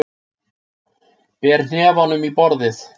Ber hnefanum í borðið.